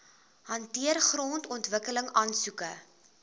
hanteer grondontwikkeling aansoeke